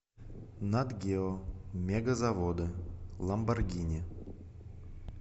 нат гео мегазаводы ламборгини